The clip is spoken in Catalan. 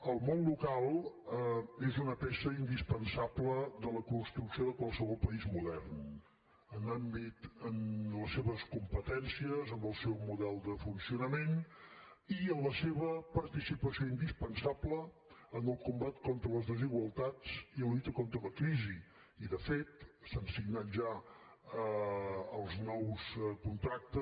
el món local és una peça indispensable de la construcció de qualsevol país modern en les seves competències en el seu model de funcionament i en la seva participació indispensable en el combat contra les desigualtats i la lluita contra la crisi i de fet s’han signat ja els nous contractes